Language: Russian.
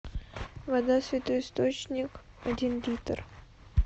вода святой источник один литр